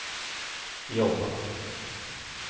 jobba